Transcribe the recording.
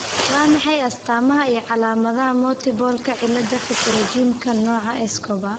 Waa maxay astaamaha iyo calaamadaha Multiple cillada pterygiumka nooca Escobar?